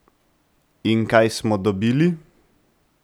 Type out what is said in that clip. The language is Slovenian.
In kaj smo dobili?